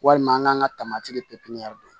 Walima an k'an ka tamati ye pepiniyɛriw